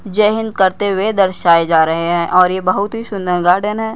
जय हिंद करते हुए दर्शाए जा रहे हैं और ये बहुत ही सुंदर गार्डेन है।